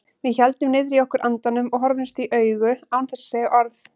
Við héldum niðri í okkur andanum og horfðumst í augu án þess að segja orð.